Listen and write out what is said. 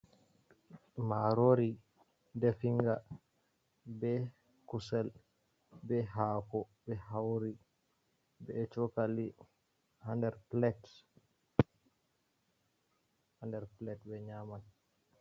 marori definga be kusel be hako be hauri be chokali hander plate be nyaman